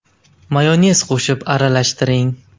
Mayonez qo‘shib aralashtiring.